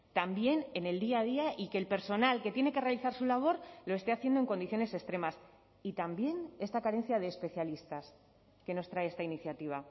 también en el día a día y que el personal que tiene que realizar su labor lo esté haciendo en condiciones extremas y también esta carencia de especialistas que nos trae esta iniciativa